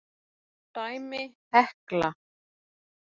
Dæmi: Hekla